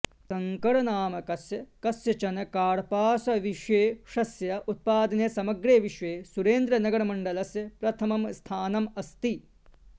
शङ्करनामकस्य कस्यचन कार्पासविशेषस्य उत्पादने समग्रे विश्वे सुरेन्द्रनगरमण्डलस्य प्रथमं स्थानम् अस्ति